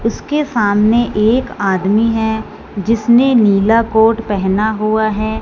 उसके सामने एक आदमी है जिसने नीला कोट पहना हुआ है।